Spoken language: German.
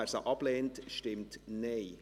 Wer sie ablehnt, stimmt Nein.